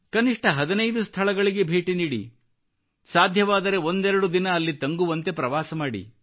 ಕನಿಷ್ಟ 15 ಸ್ಥಳಗಳಿಗೆ ಭೇಟಿ ನೀಡಿ ಸಾಧ್ಯವಾದರೆ ಒಂದೆರಡು ದಿನ ಅಲ್ಲಿ ತಂಗುವಂತೆ ಪ್ರವಾಸ ಮಾಡಿ